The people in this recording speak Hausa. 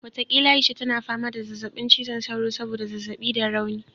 Watakila Aisha tana fama da zazzabin cizon sauro saboda zazzabi da rauni